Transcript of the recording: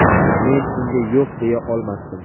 Men unga yo‘q deya olmasdim.